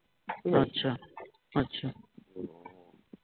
আচ্ছা আচ্ছা